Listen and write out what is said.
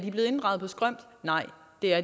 det er